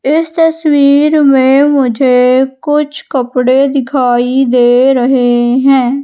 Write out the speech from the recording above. इस तस्वीर में मुझे कुछ कपड़े दिखाई दे रहे हैं।